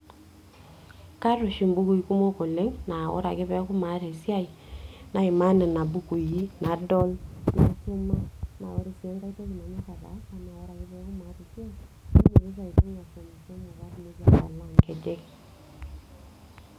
Kaata oshi imbukui kumok oleng' naa ore ake pee eku maata esiai naimaa nena bukui nadol, naisuma, naa ore ake sii enkai toki nanyorr ataasa eneeku maata esiai nainyiototo aibung' ashomishomo pee alak nkejek.